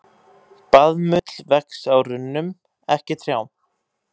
Baðmull vex á runnum, ekki trjám.